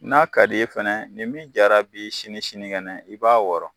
N'a ka di i fɛnɛ nin min jara bi sini sinikɛnɛ i b'a wɔɔrɔ.